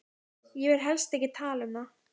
Ég vil helst ekki tala um það.